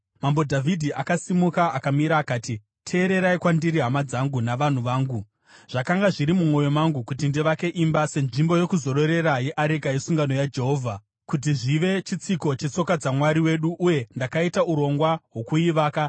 Mambo Dhavhidhi akasimuka akamira akati, “Teererai kwandiri, hama dzangu navanhu vangu. Zvakanga zviri mumwoyo mangu kuti ndivake imba senzvimbo yokuzororera yeareka yesungano yaJehovha, kuti zvive chitsiko chetsoka dzaMwari wedu, uye ndakaita urongwa hwokuivaka.